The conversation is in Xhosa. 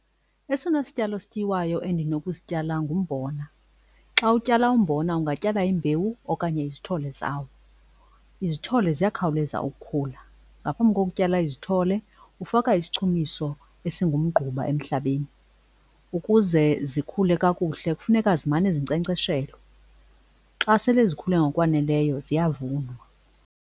Esona sityalo sityiwayo endinokusityala ngumbona. Xa utyala umbona ungatyala imbewu okanye izithole zawo, izithole ziyakhawuleza ukukhula. Ngaphambi kokutyala izithole ufaka isichumiso esingumgquba emhlabeni. Ukuze zikhule kakuhle kufuneka zimane zinkcenkceshelwa. Xa sele zikhule ngokwaneleyo ziyavunwa.